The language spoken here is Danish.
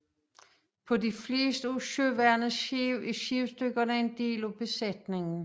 På de fleste af søværnets skibe er skibsdykkere en del af besætningen